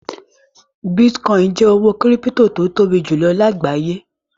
Bítíkọ́ìn jẹ́ owó kírípító tó tóbi jùlọ lágbàáyé.